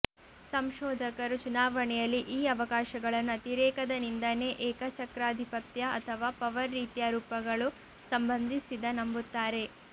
ಸಂಶೋಧಕರು ಚುನಾವಣೆಯಲ್ಲಿ ಈ ಅವಕಾಶಗಳನ್ನು ಅತಿರೇಕದ ನಿಂದನೆ ಏಕಚಕ್ರಾಧಿಪತ್ಯ ಅಥವಾ ಪವರ್ ರೀತಿಯ ರೂಪಗಳು ಸಂಬಂಧಿಸಿದ ನಂಬುತ್ತಾರೆ